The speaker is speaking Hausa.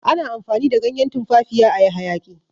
ana amfani da ganyen tumfafiya a yi hayaki